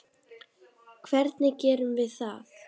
Hvernig gerum við það?